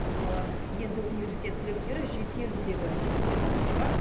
мысалы енді университет түлектері жеке үлгідегі диплом алып шығады